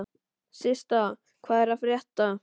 Systa, hvað er að frétta?